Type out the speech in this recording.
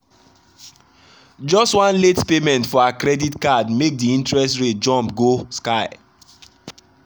just one late payment for her credit card make the interest rate jump go sky.